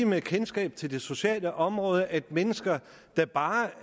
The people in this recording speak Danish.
med kendskab til det sociale område at mennesker der bare